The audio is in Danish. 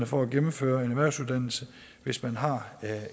for at gennemføre en erhvervsuddannelse hvis man har